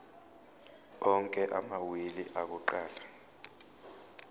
onke amawili akuqala